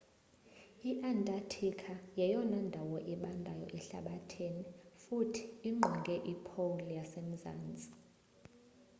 i-antarctica yeyona ndawo ibandayo ehlabathini futhi ingqonge i-pole yasemazntsi